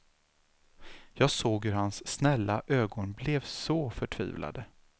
Jag såg hur hans snälla ögon blev så förtvivlade.